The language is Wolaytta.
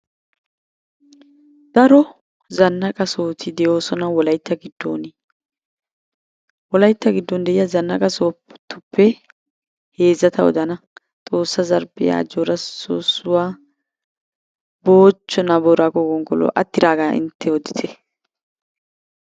Daro zanaqa sohoti de'oosona wolaytta giddooni. Wolaytta giddooni diya zannaqa sohotuppe heezzata odana. Xoossa zarphphiya, ajjoora soossuwa, moochchenaa booraago gonggoluwa. Attidaagaa intte odite.